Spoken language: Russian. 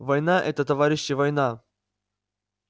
война это товарищи война